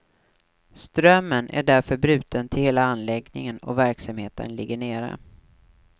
Strömmen är därför bruten till hela anläggningen och verksamheten ligger nere.